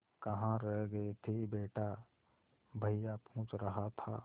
कहाँ रह गए थे बेटा भैया पूछ रहा था